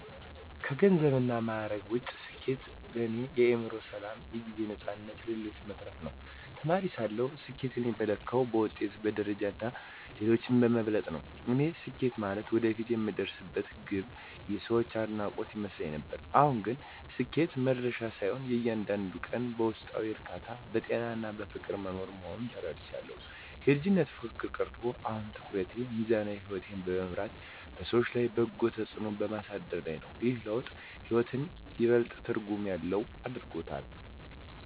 ከገንዘብና ማዕረግ ውጭ፣ ስኬት ለእኔ የአእምሮ ሰላም፣ የጊዜ ነፃነትና ለሌሎች መትረፍ ነው። ተማሪ ሳለሁ ስኬትን የምለካው በውጤት፣ በደረጃና ሌሎችን በመብለጥ ነበር፤ ያኔ ስኬት ማለት ወደፊት የምደርስበት ግብና የሰዎች አድናቆት ይመስለኝ ነበር። አሁን ግን ስኬት መድረሻ ሳይሆን፣ እያንዳንዱን ቀን በውስጣዊ እርካታ፣ በጤናና በፍቅር መኖር መሆኑን ተረድቻለሁ። የልጅነት ፉክክር ቀርቶ፣ አሁን ትኩረቴ ሚዛናዊ ሕይወት በመምራትና በሰዎች ላይ በጎ ተጽዕኖ በማሳደር ላይ ነው። ይህ ለውጥ ሕይወትን ይበልጥ ትርጉም ያለው አድርጎታል።